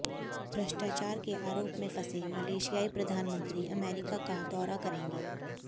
भ्रष्टाचार के आरोप में फंसे मलेशियाई प्रधानमंत्री अमेरिका का दौरा करेंगे